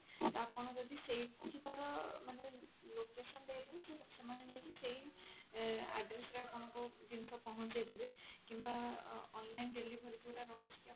ଆପଣ ଯଦି ସେଇଠିକାର ମାନେ location ଦେଇଥିବେ ତ ସେମାନେ ଯାଇକି ସେଇ ଆ address ରେ ଆପଣଙ୍କୁ ଜିନିଷ ପହଞ୍ଚେଇଦେବେ କିମ୍ବା ଅ online delivery ଯଉଟା ରହୁଛି